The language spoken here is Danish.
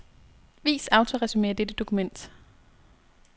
Vis autoresumé af dette dokument.